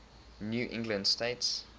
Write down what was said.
new england states